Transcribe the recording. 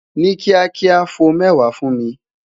Ni kiakia, fo mẹwa fun mi